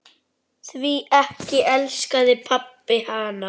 Því ekki elskaði pabbi hana.